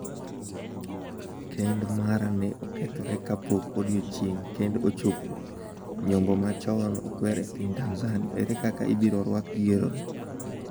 Kend mara ne okethore kapok odiechieng’ kend ochopo’ Nyombo ma chon okwer e piny Tanzania, ere kaka ibiro rwako yierono?